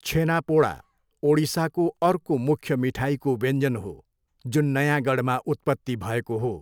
छेनापोडा, ओडिसाको अर्को मुख्य मिठाईको व्यञ्जन हो, जुन नयाँगढमा उत्पत्ति भएको हो।